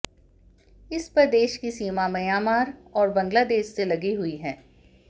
इस प्रदेश की सीमा म्यांमार और बांग्लादेश से लगी हुई है